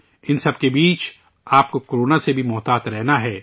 ان سب کے درمیان، آپ کو کورونا سے بھی محتاط رہنا ہے